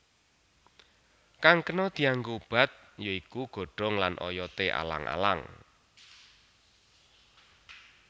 Kang kena dianggo obat ya iku godhong lan oyoté alang alang